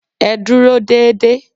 Ẹ dúró dédé